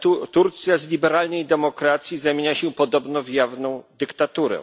Turcja z liberalnej demokracji zamienia się podobno w jawną dyktaturę.